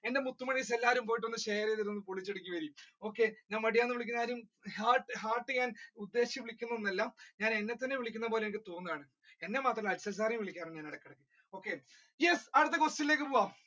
എന്റെ മുത്തുമണ്ണീസ് എല്ലാരും പോയിട്ട് ഒന്ന് share ചെയ്തോളു ഞാൻ മടിയൻ എന്ന് വിളിക്കുന്നത് ആരെയും hur~hurt ചെയ്യാൻ ഉദ്ദേശിച്ചു വിളിക്കുന്ന ഒന്ന് അല്ല ഞാൻ എന്നെ തന്നെ വിളിക്കുന്ന ഒരു തോന്നലാണ് എന്നെ മാത്രമല്ല ഇടക്ക് Arshu sir വിളിക്കാറുണ്ട് ഞാൻ ഇടക്ക് okay yes അടുത്ത question ലേക്ക് പോകാം.